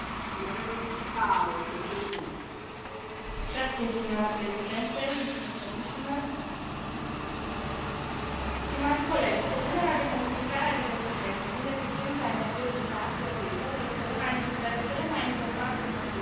Stimați colegi, propunerea de modificare a directivei privind eficiența energetică a clădirilor este una dintre cele mai importante măsuri pe care Parlamentul le a adoptat, atât pentru creșterea calității vieții cetățenilor europeni, cât și pentru redresarea economică a Uniunii.